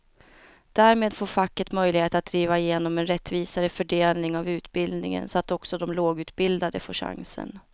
Därmed får facket möjlighet att driva igenom en rättvisare fördelning av utbildningen så att också de lågutbildade får chansen.